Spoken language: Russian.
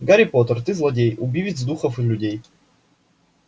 гарри поттер ты злодей убивец духов и людей